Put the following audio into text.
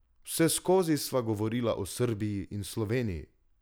Vseskozi sva govorila o Srbiji in Sloveniji.